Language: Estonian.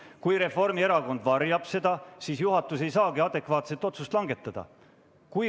Ent kui Reformierakond varjab seda, siis juhatus ei saagi adekvaatset otsust langetada.